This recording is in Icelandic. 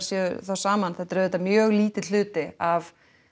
saman þetta er auðvitað mjög lítill hluti af